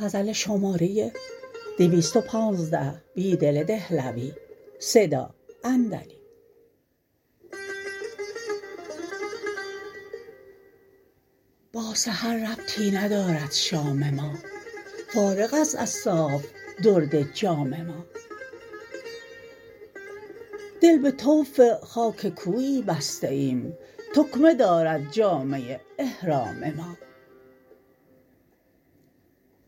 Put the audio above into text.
با سحر ربطی ندارد شام ما فارغ است از صاف درد جام ما دل به طوف خاک کویی بسته ایم تکمه دارد جامه احرام ما